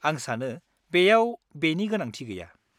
-आं सानो बेयाव बेनि गोनांथि गैया।